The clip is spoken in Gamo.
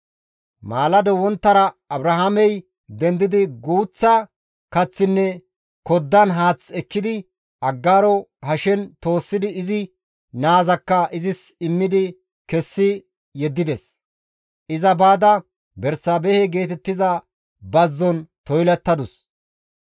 Abrahaamey maalado wonttara dendidi guuththa kaththinne koddan haath ekkidi Aggaaro hashen toossidi izi naazakka izis immidi kessi yeddides; iza baada Bersaabehe geetettiza bazzon toylattadus.